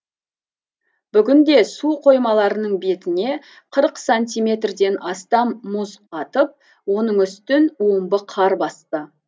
бүгінде су қоймаларының бетіне қырық сантиметрден астам мұз қатып оның үстін омбы қар басты